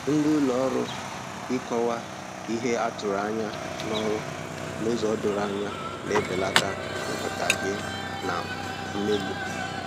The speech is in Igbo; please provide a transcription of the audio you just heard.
Ndị ụlọ ọrụ ịkọwa ihe a tụrụ anya n'ọrụ n'ụzọ doro anya na-ebelata nghọtahie na mmegbu